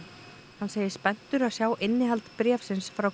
hann segist spenntur að sjá innihald bréfsins frá